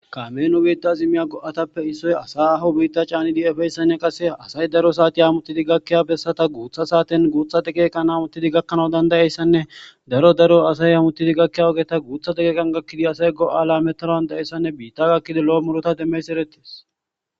kaminu biitta zimmiya go7atappe issoy asay aho biitta caani di7efeyssanne qase asay daro saati amuttidi gakkiya bessata guutha saaten guuthate geekan amuttidi gakkanau dandayeyssanne daro daro asay amuttidi gakkiya ogeta guuthate geekan gakkidi asay go7aala metaroandayessanne biitta gakkidi lo7o murota demmeys erettis